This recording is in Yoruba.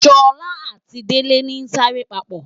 Sola ati Dele ni sa re papo